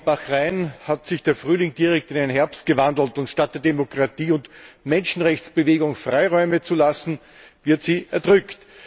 Auch in Bahrain hat sich der Frühling direkt in einen Herbst gewandelt, und statt Demokratie und der Menschenrechtsbewegung Freiräume zu lassen, werden sie erdrückt.